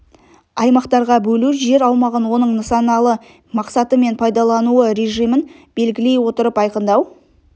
аймақтарға бөлу жер аумағын оның нысаналы мақсаты мен пайдаланылу режимін белгілей отырып айқындау